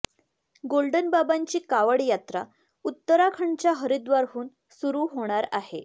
golden बाबांची कावड यात्रा उत्तराखंडच्या हरिद्वारहून सुरु होणार आहे